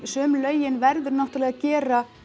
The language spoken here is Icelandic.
sum lögin verður náttúrlega að gera